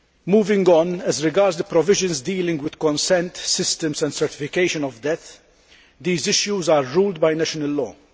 Moving on, as regards the provisions dealing with consent systems and certification of death, these issues are governed by national law.